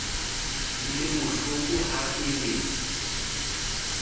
e le bohlokoha e le